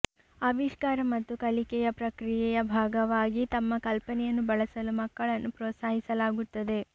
ಆವಿಷ್ಕಾರ ಮತ್ತು ಕಲಿಕೆಯ ಪ್ರಕ್ರಿಯೆಯ ಭಾಗವಾಗಿ ತಮ್ಮ ಕಲ್ಪನೆಯನ್ನು ಬಳಸಲು ಮಕ್ಕಳನ್ನು ಪ್ರೋತ್ಸಾಹಿಸಲಾಗುತ್ತದೆ